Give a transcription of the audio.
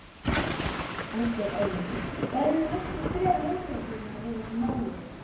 Ásgeir Erlendsson: Hver eru næstu skref lögreglunnar í þessu máli?